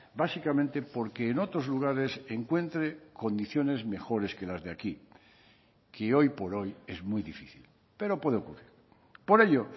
básicamente porque en otros lugares encuentre condiciones mejores que las de aquí que hoy por hoy es muy difícil pero puede ocurrir por ello